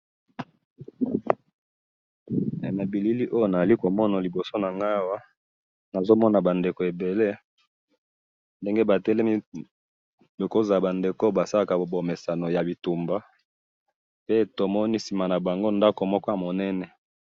na bilili oyo nazali komona na liboso nangayi awa nazo mona ba ndeko ebele ndenge batelemi ekoki kozala bazosala bomesano ya bitumba pe na sima nabango nazali komona ndaku moko ya munene